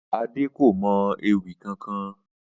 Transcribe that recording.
Adé kò mo̩ ewì kankan